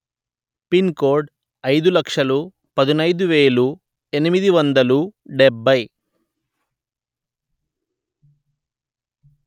pin code అయిదు లక్షలు పదునయిదు వెలు ఎనిమిది వందలు డెబ్బై